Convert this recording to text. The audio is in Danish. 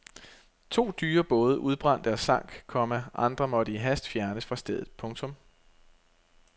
To dyre både udbrændte og sank, komma andre måtte i hast fjernes fra stedet. punktum